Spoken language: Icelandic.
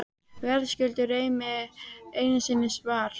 Verðskuldar Remi einu sinni svar?